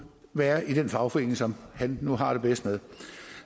være i den fagforening som han nu har det bedst med